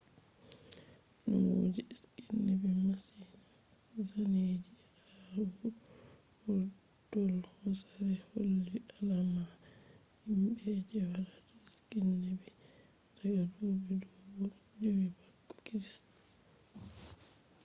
numo je skiing nebi masin-- zaneji ha vurdol hosere holli alama himbe je watta skiing nebi daga dubi dubu jowi bako christ